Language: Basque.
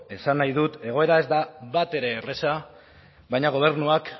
esan nahi dut egoera ez dela batere erreza baina gobernuak